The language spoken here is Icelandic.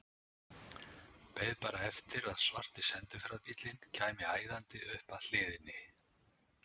Beið bara eftir að svarti sendiferðabíllinn kæmi æðandi upp að hliðinni.